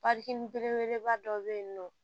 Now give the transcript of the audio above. belebeleba dɔ be yen nɔ